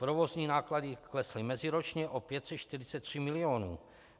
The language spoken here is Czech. Provozní náklady klesly meziročně o 543 milionů.